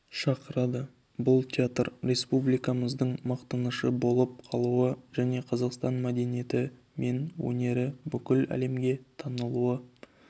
шақырады бұл театр республикамыздың мақтанышы болып қалуы және қазақстан мәдениеті мен өнері бүкіл әлемге танылуы